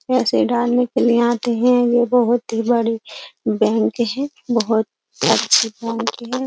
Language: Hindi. पैसे डालने के लिए आते हैं यह बहुत ही बड़ी बैंक है बहुत अच्छी बैंक है।